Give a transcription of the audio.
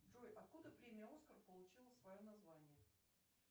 джой откуда премия оскар получила свое название